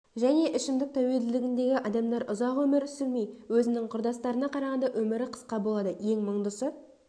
және ішімдік тәуелділігіндегі адамдар ұзақ өмір сүрмей өзінің құрдастарына қарағанда өмірі қысқа болады ең мұңдысы